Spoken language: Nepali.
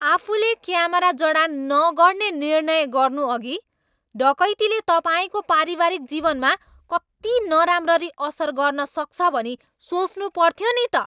आफूले क्यामेरा जडान नगर्ने निर्णय गर्नुअघि डकैतीले तपाईँको पारिवारिक जीवनमा कति नराम्ररी असर गर्नसक्छ भनी सोच्नुपर्थ्यो नि त।